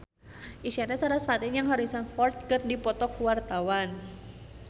Isyana Sarasvati jeung Harrison Ford keur dipoto ku wartawan